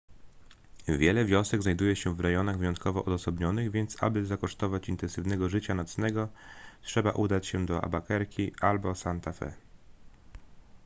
wiele wiosek znajduje się w rejonach wyjątkowo odosobnionych więc aby zakosztować intensywnego życia nocnego trzeba udać się do albuquerque albo santa fe